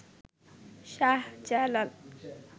Shahjalal